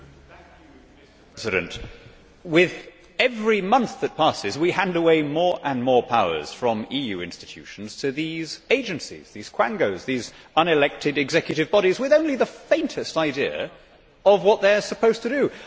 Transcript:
Mr President, with every month that passes we hand away more and more powers from EU institutions to these agencies these quangos, these unelected executive bodies with only the faintest idea of what they are supposed to do.